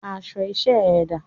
Aṣọ iṣẹ́ ẹ dà?